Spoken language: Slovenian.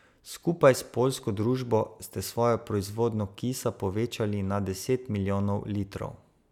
Skupaj s poljsko družbo ste svojo proizvodnjo kisa povečali na deset milijonov litrov.